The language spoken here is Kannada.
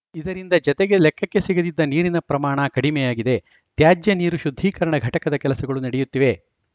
ಇದರಿಂದ ಜತೆಗೆ ಲೆಕ್ಕಕ್ಕೆ ಸಿಗದಿದ್ದ ನೀರಿನ ಪ್ರಮಾಣ ಕಡಿಮೆಯಾಗಿದೆ ತ್ಯಾಜ್ಯನೀರು ಶುದ್ಧೀಕರಣ ಘಟಕದ ಕೆಲಸಗಳು ನಡೆಯುತ್ತಿವೆ